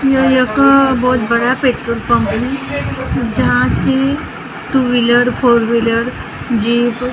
यह एक बहुत बड़ा पेट्रोल पंप है जहाँ से ट्यूबविलर फोरव्हीलर जीप और --